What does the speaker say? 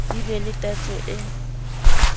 di be le tatso e